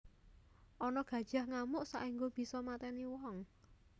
Ana gajah ngamuk saengga bisa mateni wong